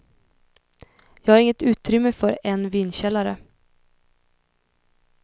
Jag har inget utrymme för en vinkällare.